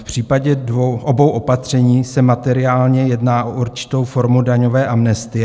V případě obou opatření se materiálně jedná o určitou formu daňové amnestie.